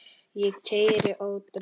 Ég keyri ótrauð